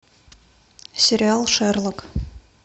сериал шерлок